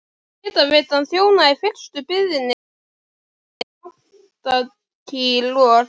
Hitaveitan þjónaði í fyrstu byggðinni þar og í Andakíl og